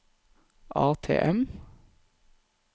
ATM